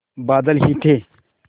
बादल ही थे